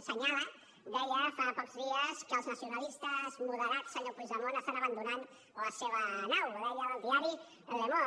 assenyalava deia fa pocs dies que els nacionalistes moderats senyor puigdemont estan abandonant la seva nau ho deia el diari le monde